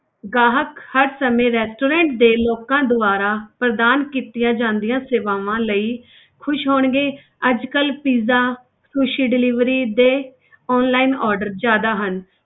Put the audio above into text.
ਗਾਹਕ ਹਰ ਸਮੇਂ restaurant ਦੇ ਲੋਕਾਂ ਦੁਆਰਾ ਪ੍ਰਦਾਨ ਕੀਤੀਆਂ ਜਾਂਦੀਆਂ ਸੇਵਾਵਾਂ ਲਈ ਖ਼ੁਸ਼ ਹੋਣਗੇ ਅੱਜ ਕੱਲ੍ਹ pizza ਸ਼ੂਸ਼ੀ delivery ਦੇ online order ਜ਼ਿਆਦਾ ਹਨ।